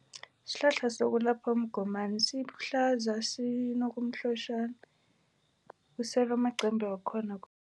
Sihlahla sokulapha umgomani sihlaza, sinokumhlotjhana. Usele amaqembe wakhona.